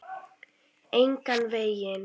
Engan veginn.